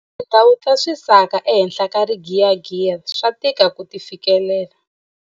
Tindhawu ta swisaka ehenhla ka rigiyagiya swa tika ku ti fikelela.